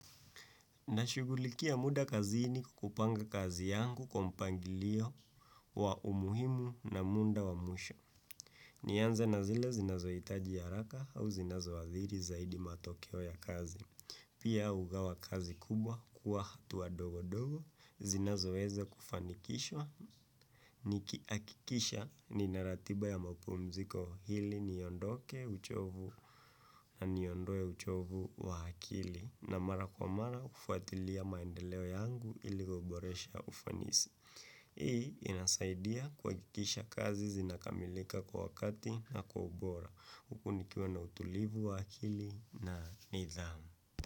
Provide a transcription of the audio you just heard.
Nashughulikia muda kazini kwa kupanga kazi yangu kwa mpangilio wa umuhimu na muda wa mwisho. Nianze na zile zinazo hitaji ya haraka au zinazoadhiri zaidi matokeo ya kazi. Pia hugawa kazi kubwa kuwa hatua ndogo ndogo, zinazoweza kufanikishwa. Nikihakikisha nina ratiba ya mapumziko ili niondoke uchovu na niondoe uchovu wa akili. Na mara kwa mara hufuatilia maendeleo yangu ili kuboresha ufanisi. Hii inasaidia kuhakikisha kazi zinakamilika kwa wakati na kwa ubora. Huku nikiwa na utulivu wa akili na nidhamu.